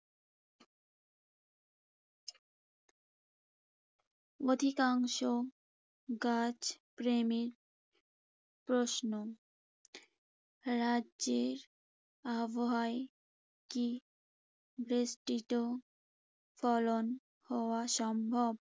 অধিকাংশ গাছ প্রেমীর প্রশ্ন, রাজ্যের আবহাওয়ায় কি বেষ্টিত ফলন হওয়া সম্ভব?